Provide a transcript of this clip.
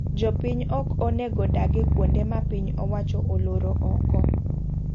Jopiny ok onego dage kuonde ma piny owacho oloro oko.